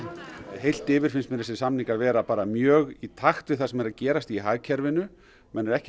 heilt yfir finnst mér þessir samningar vera mjög í takt við það sem er að gerast í hagkerfinu menn eru ekki að